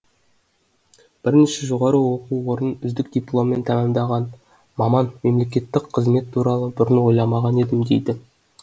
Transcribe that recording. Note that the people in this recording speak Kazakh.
бірнеше жоғары оқу орнын үздік дипломмен тәмамдаған маман мемлекеттік қызмет туралы бұрын ойламаған едім дейді